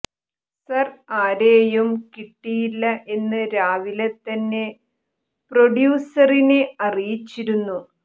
sir ആരെയും കിട്ടിയില്ല എന്ന് രാവിലെ തന്നെ പ്രൊഡ്യൂസറിനെ അറിയിച്ചിരുന്നു